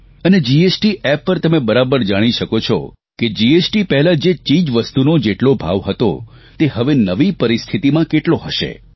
અને GST app પર તમે બરાબર જાણી શકો છો કે જીએસટી પહેલાં જે ચીજવસ્તુનો જેટલો ભાવ હતો તે હવે નવી પરિસ્થિતિમાં કેટલો હશે